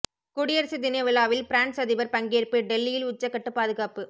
குடியரசு தினவிழாவில் பிரான்ஸ் அதிபர் பங்கேற்பு டெல்லியில் உச்சக்கட்ட பாதுகாப்பு